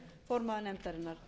formaður nefndarinnar